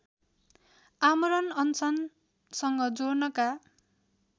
आमरण अनसनसँग जोड्नका